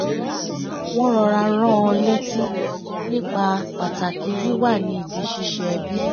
wọ́n rọra rán an létí nípa pàtàkì wíwà ní ibi ṣíṣe ẹbi